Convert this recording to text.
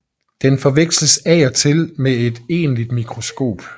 Den forveksles af og til med et egentligt mikroskop